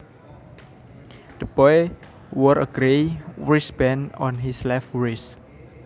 The boy wore a grey wristband on his left wrist